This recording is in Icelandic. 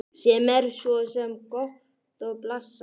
Sem er svo sem gott og blessað.